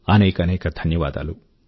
అనేకానేక ధన్యవాదాలు